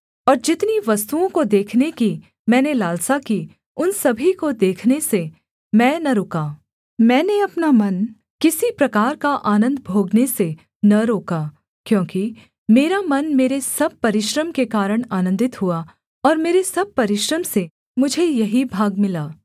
और जितनी वस्तुओं को देखने की मैंने लालसा की उन सभी को देखने से मैं न रुका मैंने अपना मन किसी प्रकार का आनन्द भोगने से न रोका क्योंकि मेरा मन मेरे सब परिश्रम के कारण आनन्दित हुआ और मेरे सब परिश्रम से मुझे यही भाग मिला